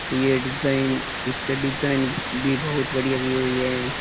ये डिजाइन इसके डिजाइन भी बहुत बढ़िया दी हुई है।